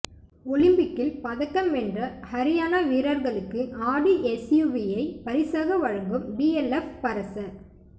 ஒலிம்பிக்கில் பதக்கம் வென்ற ஹரியானா வீரர்களுக்கு ஆடி எஸ்யூவியை பரிசாக வழங்கும் டிஎல்எப் பரச